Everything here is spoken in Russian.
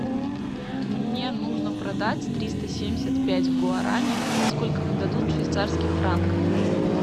мне нужно продать триста семьдесят пять гуарани сколько мне дадут швейцарских франков